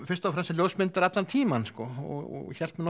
fyrst og fremst sem ljósmyndari allan tímann og hélt mig